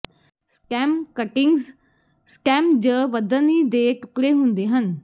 stem cuttings stem ਜ ਵਧਣੀ ਦੇ ਟੁਕੜੇ ਹੁੰਦੇ ਹਨ